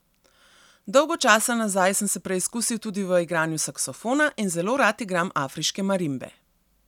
Dolgo časa nazaj sem se preizkusil tudi v igranju saksofona in zelo rad igram afriške marimbe.